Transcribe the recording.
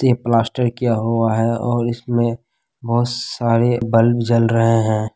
ते प्लास्टर किया हुआ है और इसमें बहुत सारे बल्ब जल रहे हैं।